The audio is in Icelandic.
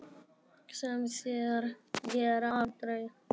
Sem þeir gera aldrei!